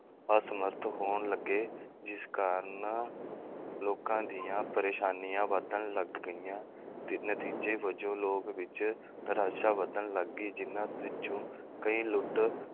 ਅਸਮਰੱਥ ਹੋਣ ਲੱਗੇ ਜਿਸ ਕਾਰਨ ਲੋਕਾਂ ਦੀਆਂ ਪ੍ਰੇਸ਼ਾਨੀਆਂ ਵਧਣ ਲੱਗ ਗਈਆਂ ਤੇ ਨਤੀਜੇ ਵਜੋਂ ਲੋਕ ਵਿੱਚ ਵਧਣ ਲੱਗੀ ਜਿਹਨਾਂ ਵਿੱਚੋਂ ਕਈ ਲੁੱਟ